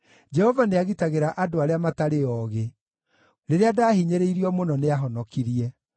Jehova nĩagitagĩra andũ arĩa matarĩ oogĩ; rĩrĩa ndahinyĩrĩirio mũno, nĩahonokirie.